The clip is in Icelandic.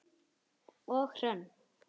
Og Hrönn?